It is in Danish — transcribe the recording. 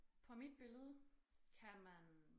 På mit billede kan man